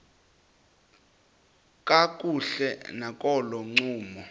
kakuhle nakolo ncumo